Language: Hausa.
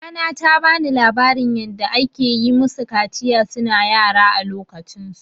Mamana ta bani labarin yanda akayi musu kaciya suna yara a lokacin su.